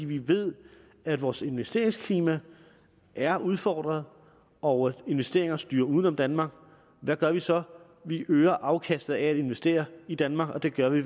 vi ved at vores investeringsklima er udfordret og at investeringer styrer uden om danmark hvad gør vi så vi øger afkastet af at investere i danmark og det gør vi